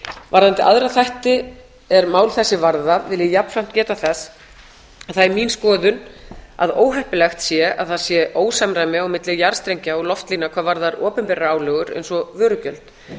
varðandi aðra þætti er mál þessi varðar vil ég jafnframt geta þess að það er mín skoðun að óheppilegt sé að það sé ósamræmi á milli jarðstrengja og loftlína hvað varðar opinberar álögur eins og vörugjöld